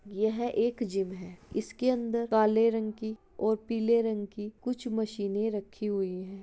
यह एक जिम है। इसके अन्दर काले रंग की और पीले रंग की कुछ मशीने रखी हुई हैं।